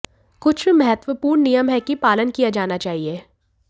कुछ महत्वपूर्ण नियम है कि पालन किया जाना चाहिए